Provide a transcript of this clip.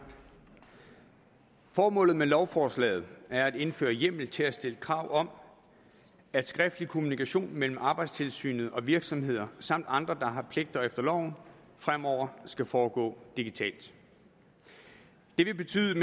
formålet med lovforslaget er at indføre hjemmel til at stille krav om at skriftlig kommunikation mellem arbejdstilsynet og virksomheder samt andre der har pligter efter loven fremover skal foregå digitalt det vil betyde